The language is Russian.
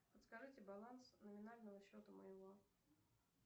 подскажите баланс номинального счета моего